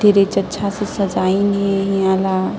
तिरेच अच्छा से सजाइन हे इहा ल --